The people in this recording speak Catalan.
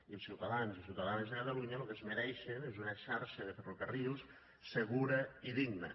i els ciutadans i ciutadanes de catalunya lo que es mereixen és una xarxa de ferrocarrils segura i digna